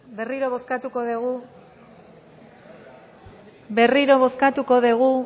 berriro bozkatuko dugu berriro bozkatuko dugu